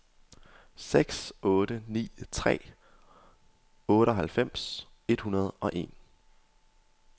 seks otte ni tre otteoghalvfems et hundrede og en